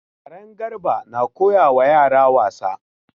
Karen Garba na koyawa yara wasa.